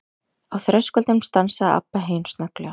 Á þröskuldinum stansaði Abba hin snögglega.